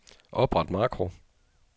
Opret makro.